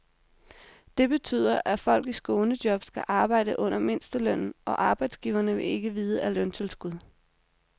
Det betyder, at folk i skånejob skal arbejde under mindstelønnen, og arbejdsgiverne vil ikke vide af løntilskud.